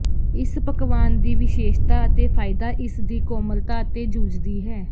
ਇਸ ਪਕਵਾਨ ਦੀ ਵਿਸ਼ੇਸ਼ਤਾ ਅਤੇ ਫਾਇਦਾ ਇਸ ਦੀ ਕੋਮਲਤਾ ਅਤੇ ਜੂਝਦੀ ਹੈ